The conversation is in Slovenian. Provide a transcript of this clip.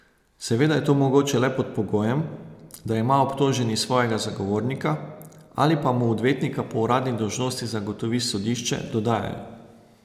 Seveda je to mogoče le pod pogojem, da ima obtoženi svojega zagovornika, ali pa mu odvetnika po uradni dolžnosti zagotovi sodišče, dodajajo.